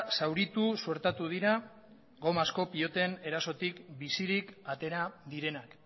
zauritu suertatu dira gomazko piloten erasotik bizirik atera direnak